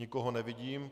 Nikoho nevidím.